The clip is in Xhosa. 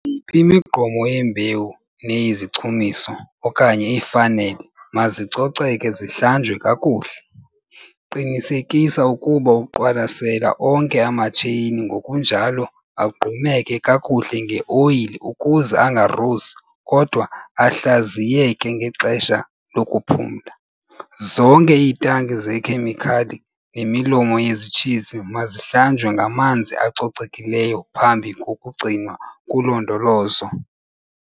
yiphi imigqomo yembewu neyezichumiso okanye iifanele mazicoceke zihlanjwe kakuhle. Qinisekisa ukuba uqwalasela onke amatsheyini ngokunjalo agqumeke kakuhle ngeoyile ukuze angarusi kodwa ahlaziyeke ngexesha lokuphumla. Zonke iitanki zeekhemikhali nemilomo yezitshizi mazihlanjwe ngamanzi acocekileyo phambi kokugcinwa kulondolozo.